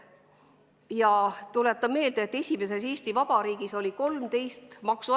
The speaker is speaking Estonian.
Ja tuletan ka meelde, et nn esimeses Eesti Vabariigis oli 13 maksuastet.